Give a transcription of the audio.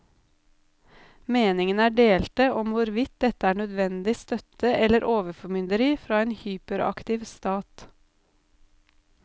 Meningene er delte om hvorvidt dette er nødvendig støtte eller overformynderi fra en hyperaktiv stat.